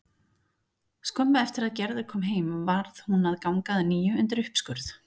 Skömmu eftir að Gerður kom heim varð hún að ganga að nýju undir uppskurð.